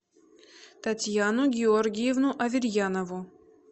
татьяну георгиевну аверьянову